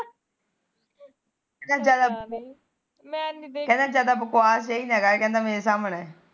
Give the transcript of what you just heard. ਕਹਿੰਦਾ ਜਾਦਾ ਕਹਿਦਾ ਜਾਦਾ ਬਕਬਾਸ ਨਾ ਕਰ ਮੇਰੇ ਸਾਹਮਣੇ